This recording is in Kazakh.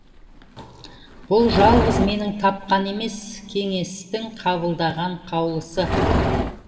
бұл жалғыз менің тапқан емес кеңестің қабылдаған қаулысы